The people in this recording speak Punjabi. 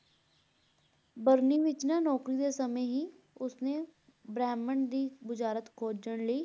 ਬਰਨੀ ਵਿੱਚ ਨਾ ਨੌਕਰੀ ਦੇ ਸਮੇਂ ਹੀ ਉਸ ਨੇ ਬ੍ਰਹਿਮੰਡ ਦੀ ਬੁਝਾਰਤ ਖੋਝਣ ਲਈ